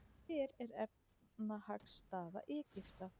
Hver er efnahagsstaða Egypta?